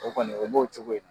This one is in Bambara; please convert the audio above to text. o kɔni, o b'o cogo in na.